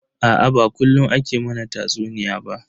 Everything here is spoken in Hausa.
Aa ba kullun ake mana tatsuniya ba.